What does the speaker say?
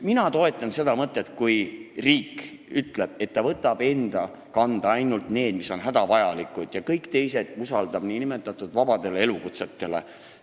Mina toetan seda, kui riik ütleb, et ta võtab enda kanda ainult need ülesanded, mis on hädavajalikud, ja kõik teised usaldab nn vabadele elukutsetele.